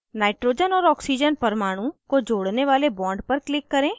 nitrogen और oxygen परमाणु को जोड़ने वाले bond पर click करें